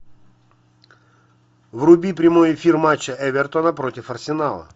вруби прямой эфир матча эвертона против арсенала